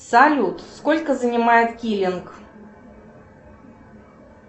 салют сколько занимает киллинг